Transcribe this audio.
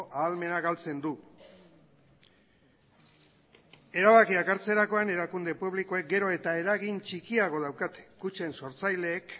ahalmena galtzen du erabakiak hartzerakoan erakunde publikoek gero eta eragin txikiago daukate kutxen sortzaileek